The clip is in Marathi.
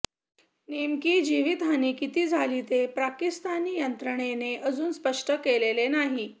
नेमकी जिवीतहानी किती झाली ते पाकिस्तानी यंत्रणेने अजून स्पष्ट केलेले नाही